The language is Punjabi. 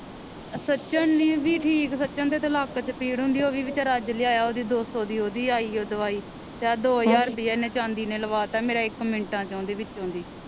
ਸਚਿਨ ਨਹੀਂ ਸੀ ਠੀਕ ਸਚਿਨ ਦੇ ਤਾ ਲੱਕ ਚ ਭੀੜ ਹੁੰਦੀ ਓਵੀ ਵਿਚਾਰ ਅੱਜ ਲਿਆਇਆ ਉਹ ਦੀ ਦੋ ਸੌ ਦੀ ਉਹ ਦੀ ਆਈ ਓ ਦਵਾਈ ਤੇ ਆ ਦੋ ਹਜ਼ਾਰ ਰੁਪਈਆ ਇਹ ਨੇ ਚਾਂਦੀ ਨੇ ਲਵਾਤਾ ਮੇਰਾ ਇਕ ਮਿੰਟਾ ਚੋ ਦੀ ਵਿੱਚੋ ਦੀ